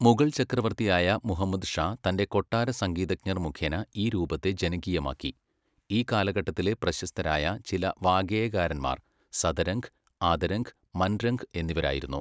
മുഗൾ ചക്രവർത്തിയായ മുഹമ്മദ് ഷാ തൻ്റെ കൊട്ടാര സംഗീതജ്ഞർ മുഖേന ഈ രൂപത്തെ ജനകീയമാക്കി, ഈ കാലഘട്ടത്തിലെ പ്രശസ്തരായ ചില വാഗ്ഗേയകാരന്മാർ സദരംഗ്, ആദരംഗ്, മൻരംഗ് എന്നിവരായിരുന്നു.